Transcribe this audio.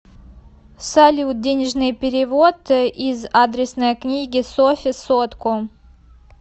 салют денежный перевод из адресной книги софе сотку